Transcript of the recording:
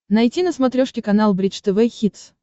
найти на смотрешке канал бридж тв хитс